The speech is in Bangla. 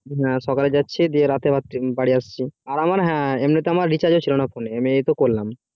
হ্যাঁ সকালে যাচ্ছি দিয়ে রাতে বাড়ি আসছি আবার হ্যাঁ এমনি তে আমার recharge ছিল না phone